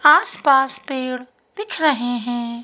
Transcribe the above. आस पास पेड़ दिख रहे हैं।